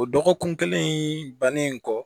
O dɔgɔkun kelen bannen kɔ